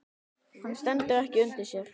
Hann stendur ekki undir sér.